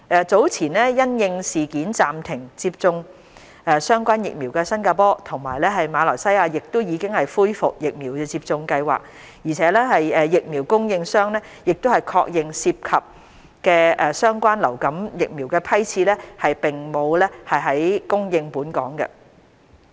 早前因應事件暫停接種相關疫苗的新加坡及馬來西亞亦已恢復疫苗接種計劃，而疫苗供應商亦確認涉及的相關流感疫苗的批次並沒有供應本港。